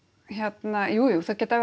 hérna jújú það geta